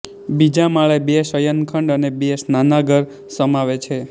બીજા માળે બે શયનખંડ અને બે સ્નાનાગર સમાવે છે